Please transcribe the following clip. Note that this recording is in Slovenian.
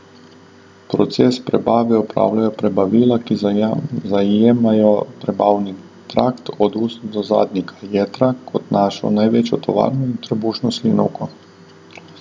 Proces prebave opravljajo prebavila, ki zajemajo prebavni trakt od ust do zadnjika, jetra, kot našo največjo tovarno, in trebušno slinavko.